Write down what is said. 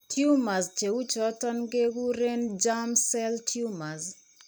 Tumors che uu choton ke kuren germ cell tumors.